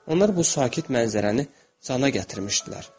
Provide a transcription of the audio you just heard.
Onlar bu sakit mənzərəni cana gətirmişdilər.